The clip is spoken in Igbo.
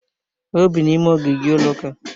O bi n'ime ogige ụlọuka